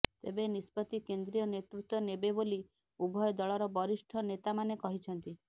ତେବେ ନିଷ୍ପତ୍ତି କେନ୍ଦ୍ରୀୟ ନେତୃତ୍ୱ ନେବେ ବୋଲି ଉଭୟ ଦଳର ବରିଷ୍ଠ ନେତାମାନେ କହିଛନ୍ତି